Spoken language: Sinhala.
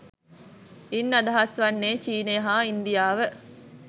ඉන් අදහස් වන්නේ චීනය හා ඉන්දියාව